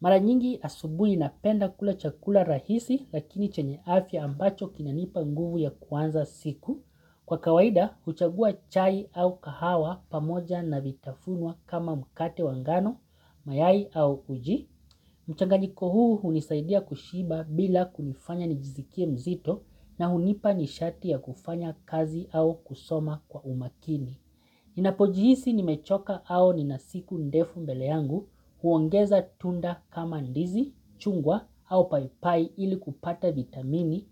Maranyingi asubuhi napenda kula chakula rahisi lakini chenye afya ambacho kina nipa nguvu ya kuanza siku. Kwa kawaida, huchagua chai au kahawa pamoja na vitafunwa kama mkate wa ngano, mayai au uji. Mchangaliko huu hunisaidia kushiba bila kunifanya nijisikie mzito na hunipa nishati ya kufanya kazi au kusoma kwa umakini. Ninapojihisi nimechoka au nina siku ndefu mbele yangu huongeza tunda kama ndizi, chungwa au paipai ili kupata vitamini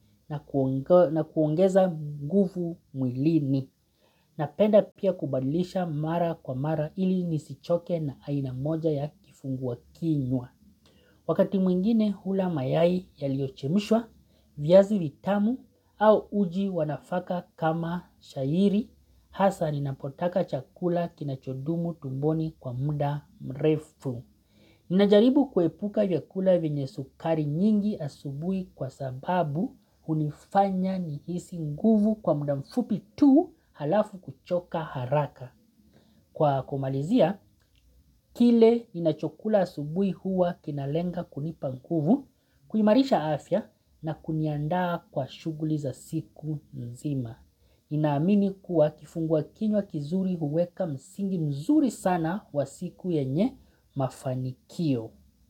na kuongeza nguvu mwilini. Napenda pia kubadilisha mara kwa mara ili nisichoke na aina moja ya kifungua kinywa. Wakati mwingine hula mayai ya liochemishwa, viazi vitamu au uji wa nafaka kama shayiri, hasa ninapotaka chakula kinachodumu tumboni kwa muda mrefu. Ninajaribu kuepuka vyakula vyenye sukari nyingi asubui kwa sababu unifanya nihisi nguvu kwa muda mfupi tuu halafu kuchoka haraka. Kwa kumalizia, kile inachokula asubuhi huwa kinalenga kunipa nguvu, kuimarisha afya na kuniandaa kwa shuguli za siku nzima. Inamini kuwa kifungua kinywa kizuri huweka msingi mzuri sana wa siku yenye mafanikio.